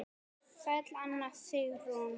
Sæl Anna Sigrún.